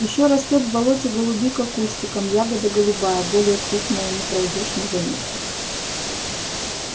ещё растёт в болоте голубика кустиком ягода голубая более крупная не пройдёшь не заметив